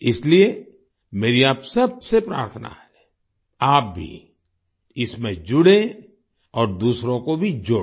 इसलिए मेरी आप सबसे प्रार्थना है आप भी इसमें जुड़ें और दूसरों को भी जोड़ें